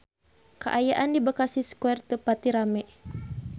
Kaayaan di Bekasi Square teu pati rame